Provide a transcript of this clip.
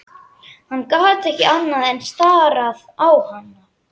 Hann gat ekki annað en starað á hana.